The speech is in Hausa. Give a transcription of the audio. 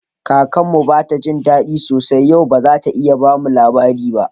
Kakar mu bata jin dadi sosai yau, ba zata iya bamu labari ba.